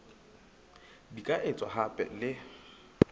di ka etswa hape le